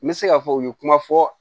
N bɛ se k'a fɔ u ye kuma fɔ